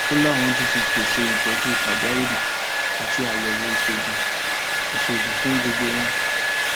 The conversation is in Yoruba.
ó láwọn tún ti pèsè ìtọjú pàjáwìrì àti àyẹwò ìṣègùn ìṣègùn fún gbogbo wọn